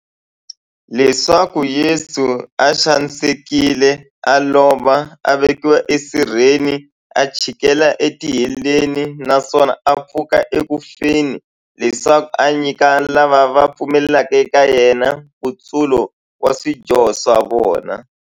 Leswaku Yesu u xanisekile, a lova, a vekiwa e sirheni, a chikela e tiheleni, naswona a pfuka eku feni, leswaku a nyika lava va pfumelaka eka yena, nkutsulo wa swidyoho swa vona.